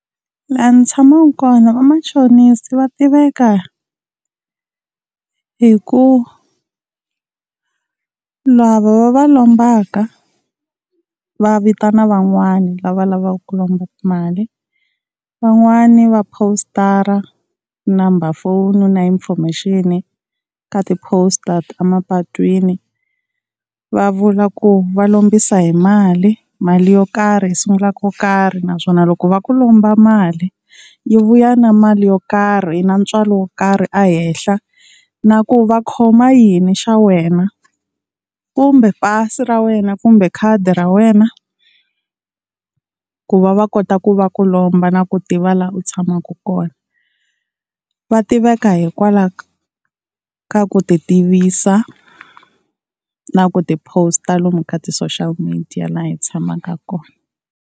La ni tshamaka kona vamachonisi va tiveka hi ku lava va va lombaka va vitana van'wana lava lavaka ku lomba mali, van'wani va positara number phone na information ka ti-post a mapatwini va vula ku va lombisa hi mali, mali yo karhi yi sungula ko karhi. Naswona loko va ku lomba mali yi vuya na mali yo karhi na ntswalo wo karhi ehenhla, na ku va khoma yini xa wena kumbe pasi ra wena kumbe khadi ra wena ku va va kota ku va ku lomba na ku tiva laha u tshamaka kona. Va tiveka hikwalaho ka ku ti tivisa na ku ti post-a lomu ka ti-social media laha hi tshamaka kona.